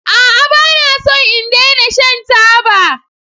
A'a! Ba na so in daina shan taba.